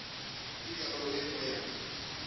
ke karolo ye nngwe ya